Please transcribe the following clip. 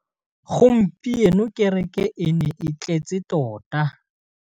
Gompieno kêrêkê e ne e tletse tota.